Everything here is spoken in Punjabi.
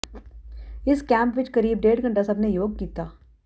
ਇਸ ਕੈਂਪ ਵਿੱਚ ਕਰੀਬ ਡੇਢ ਘੰਟਾ ਸਭ ਨੇ ਯੋਗ ਕੀਤਾ